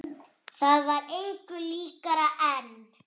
Það var engu líkara en.